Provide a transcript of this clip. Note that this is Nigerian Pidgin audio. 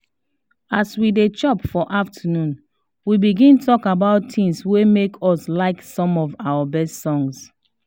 as we dey chop for afternoon we begin talk about things wey make us like some of our best songs